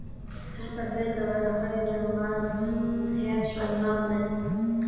Þetta hlaut að vera hræðilegur maður, fyrst hann hét svona nafni.